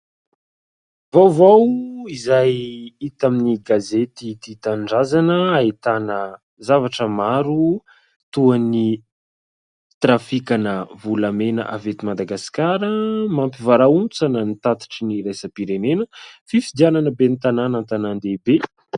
Vaovao izay hita amin'ny gazety Tia Tanindrazana, ahitana zavatra maro, toa ny trafikana volamena avy eto Madagaska "Mampivarahontsana ny tatitry ny iraisam-pirenena", fifidianana ben'ny tanana an-tanan-dehibe.